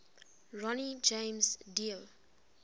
ronnie james dio